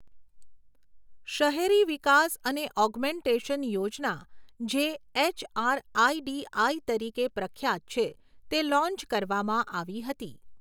શહેરી વિકાસ અને ઔગ્મેનટેશન યોજના જે એચઆરઆઇડીઆઈ તરીકે પ્રખ્યાત છે, તે લોન્ચ કરવામાં આવી હતી.